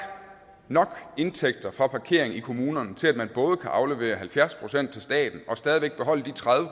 indtægter nok fra parkering i kommunerne til at man både kan aflevere halvfjerds procent til staten og stadig væk beholde de tredive